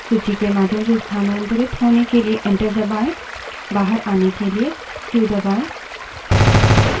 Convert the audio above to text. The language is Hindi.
सूची के माध्यम से स्थानांतरित होने के लिए enter दबायें बाहर आने के लिए q क्यू दबायें